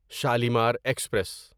Shalimar express